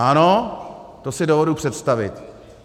Ano, to si dovedu představit.